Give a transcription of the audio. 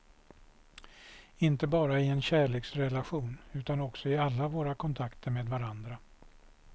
Inte bara i en kärleksrelation utan också i alla våra kontakter med varandra.